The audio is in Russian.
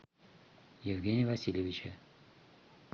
евгения васильевича